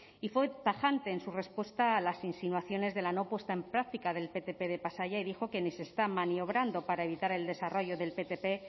y fue tajante en su respuesta a las insinuaciones de la no puesta en práctica del ptp de pasaia y dijo que ni se esta maniobrando para evitar el desarrollo del ptp